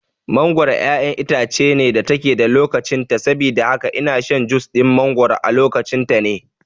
Mangoro ƴaƴar itace ce da take da lokacin ta saboda haka ina shan jus ɗin mangoro a lokacin ta ne